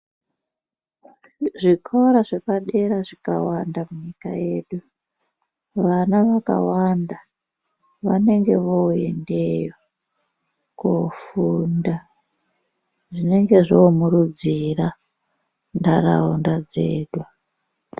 Zvikora zvepadera zvikawanda munyika yedu vana vakawanda vanenge voendeyo kofunda zvinenge zvomurudzira ntaraunda dzedu .